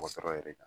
Mɔgɔ sɔrɔ yɛrɛ kan